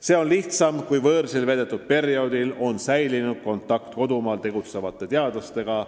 See on olnud lihtsam siis, kui võõrsil veedetud perioodil on säilinud kontakt kodumaal tegutsevate teadlastega.